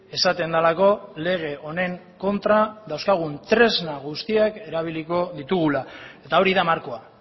esaten delako lege honen kontra dauzkagun tresna guztiak erabiliko ditugula eta hori da markoa